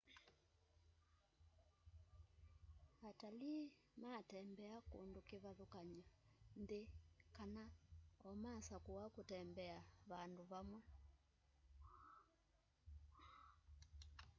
atalĩĩ matembea kũndũ kĩvathũkany'o nthĩ kana omakasakũa kũtembea vandũ vamwe